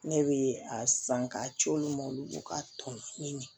Ne bɛ a san k'a ci olu ma olu ko k'a tɔnɔ ɲini